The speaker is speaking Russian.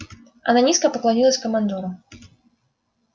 она низко поклонилась командору